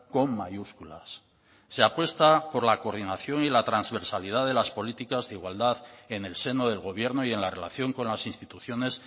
con mayúsculas se apuesta por la coordinación y la transversalidad de las políticas de igualdad en el seno del gobierno y en la relación con las instituciones